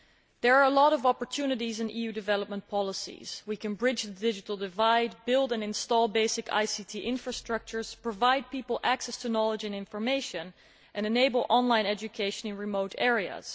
There are a lot of opportunities in EU development policies we can bridge the digital divide, build and install basic ICT infrastructures, provide people with access to knowledge and information, and enable online education in remote areas.